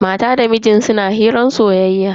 Matan da mijin ta suna hirar soyayya.